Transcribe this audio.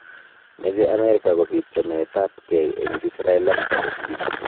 Meche Amerika kobiit chamet ab gei eng Israel ak Palestina